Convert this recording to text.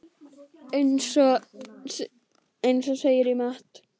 Eins og segir í Matt.